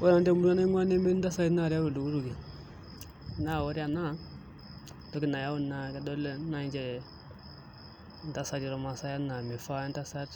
Ore nanu temurua naingua nemetii ntasati nareu oltukutuki naa ore ena entoki nayawu naa kedolo nai inche intasati olmasae enaa mifaa entasat